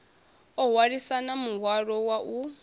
o hwalisana muhwalo wa u